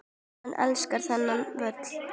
Hann elskar þennan völl.